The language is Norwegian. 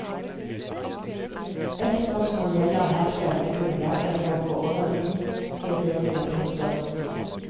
Et spørsmål gjelder her selve grunnlaget for våre verdivurderinger. punktum